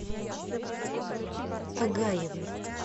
агаевой